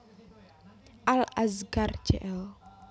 Al Azkar Jl